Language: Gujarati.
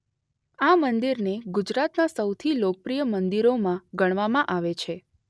આ મંદિરને ગુજરાતનાં સૌથી લોકપ્રિય મંદિરોમાં ગણવામાં આવે છે.